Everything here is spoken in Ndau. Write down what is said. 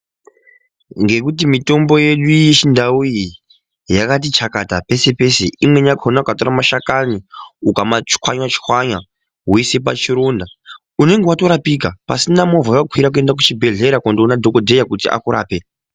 Ngekuti mitombo yedu yechindau iyi yakati chakata peshe-peshe. Imweni yakhona ukatora mashakani ukamachwanya-chwanya woise pachironda, unenge watorapika pasina movha yawakwira kuenda kuchibhedhlera kunoona dhogodheya kuti akurape.